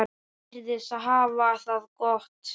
Hann virðist hafa það gott.